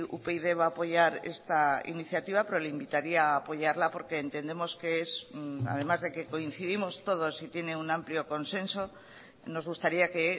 upyd va a poyar esta iniciativa pero le invitaría apoyarla porque entendemos que es además de que coincidimos todos y tiene un amplio consenso nos gustaría que